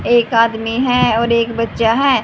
एक आदमी है और एक बच्चा है।